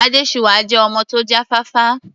Adésuwà jẹ́ ọmọ tó já fáfá.